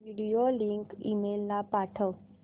video link email ला पाठव